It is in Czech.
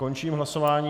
Končím hlasování.